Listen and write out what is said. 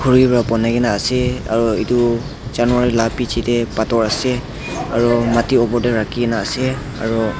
khuri vra bunai kina ase aro etu janver la biji dae bator ase aro mati opor dae rakina ase aro.